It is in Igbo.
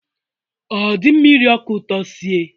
Ọ dị mma iri ọka ụtọ sie?